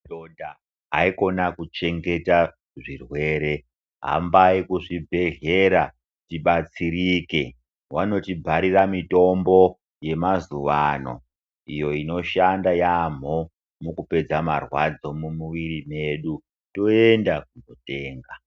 Madhodha haikona kuchengeta zvirwere hambai kuzvibhedhlera tibatsirike. Vanotibharira mitombo yamazuwaano iyo inoshanda yaamho mukupedza marwadzo mumuviri medu toenda kundotenga.